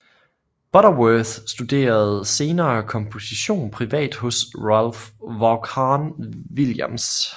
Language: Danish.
Butterworth studerede senere komposition privat hos Ralph Vaughan Williams